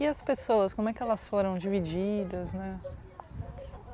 E as pessoas, como é que elas foram divididas, né?